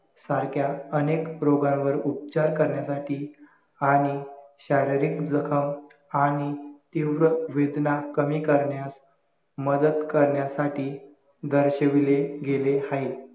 सारक्या अनेक रोगांवर उपचार करण्यासाठी आणि शारीरिक जखम आणि तीव्र वेदना कमी करण्यास मदत करण्यासाठी दर्शविले गेले हाये